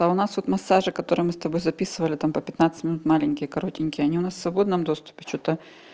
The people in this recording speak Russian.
а у нас тут массажи которые мы с тобой записывали там по пятнадцать минут маленькие коротенькие они у нас в свободном доступе что-то